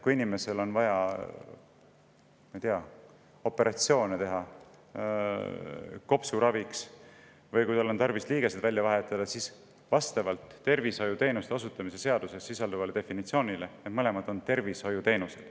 Kui inimesel on vaja kopsuravi korras operatsioone teha või kui tal on tarvis liigesed välja vahetada, siis vastavalt tervishoiuteenuste osutamise seaduses sisalduvale definitsioonile need mõlemad on tervishoiuteenused.